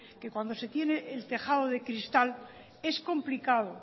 que cuando se tiene el tejado de cristal es complicado